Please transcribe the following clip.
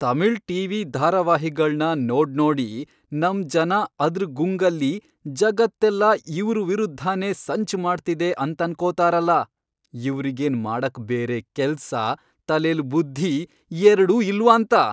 Tamil TV ಧಾರಾವಾಹಿಗಳ್ನ ನೋಡ್ನೋಡಿ ನಮ್ ಜನ ಅದ್ರ್ ಗುಂಗಲ್ಲಿ ಜಗತ್ತೆಲ್ಲ ಇವ್ರ್ ವಿರುದ್ಧನೇ ಸಂಚ್ ಮಾಡ್ತಿದೆ ಅಂತನ್ಕೊತಾರಲ, ಇವ್ರಿಗೇನ್ ಮಾಡಕ್ ಬೇರೆ ಕೆಲ್ಸ, ತಲೆಲ್ ಬುದ್ಧಿ ಎರ್ಡೂ ಇಲ್ವಾಂತ!